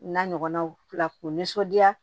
N'a ɲɔgɔnnaw fila k'u nisɔndiya